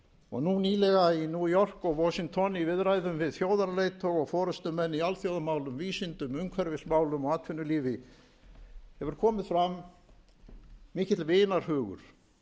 og nú nýlega í new york og washington í viðræðum við þjóðarleiðtoga og forustumenn í alþjóðamálum vísindum umhverfismálum og atvinnulífi hefur komið fram mikill vinarhugur